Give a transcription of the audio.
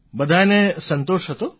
બધાંયને સંતોષ હતો